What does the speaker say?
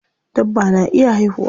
Dabba na iya haihuwa.